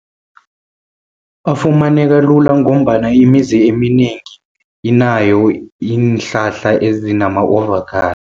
Afumaneka lula, ngombana imizi eminengi inayo iinhlahla ezinama avocado.